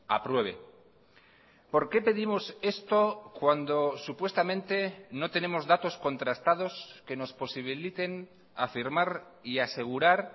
apruebe por qué pedimos esto cuando supuestamente no tenemos datos contrastados que nos posibiliten afirmar y asegurar